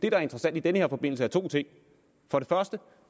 er interessant i den her forbindelse